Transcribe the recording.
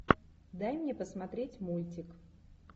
дай мне посмотреть мультик